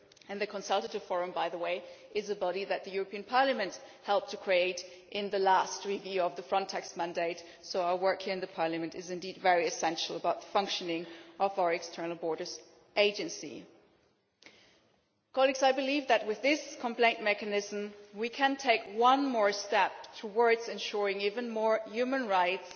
The Consultative Forum, by the way, is a body that the European Parliament helped to create in the last review of the Frontex mandate, so our work here in the Parliament is indeed essential to the functioning of our external borders agency. I believe that, with this complaint mechanism, we can take a further step towards ensuring even more human rights